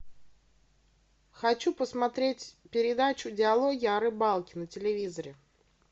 хочу посмотреть передачу диалоги о рыбалке на телевизоре